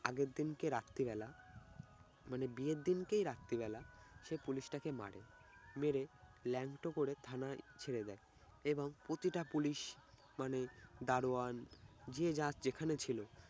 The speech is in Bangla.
আগের দিনকে রাত্রিবেলা মানে বিয়ের দিনকেই রাত্রিবেলা সে পুলিশ তাকে মারে। মেরে ল্যাংটো করে থানায় ছেড়ে দেয় এবং প্রতিটা পুলিশ মানে দারোয়ান যে যাক যেখানে ছিল